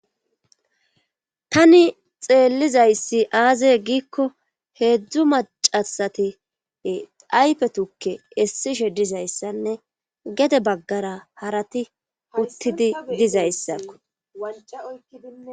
tani xeellizayssi aazey giikko heedzdzu macasati ayfe tukke essishe dizayssanne gede baggara harati uttidi dizayssakko